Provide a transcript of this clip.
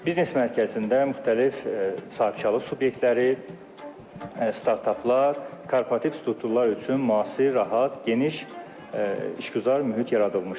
Biznes mərkəzində müxtəlif sahibkarlıq subyektləri, startaplar, korporativ strukturlar üçün müasir, rahat, geniş işgüzar mühit yaradılmışdır.